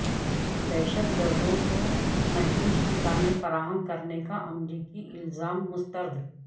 دہشت گردوں کو محفوظ ٹھکانے فراہم کرنے کا امریکی الزام مسترد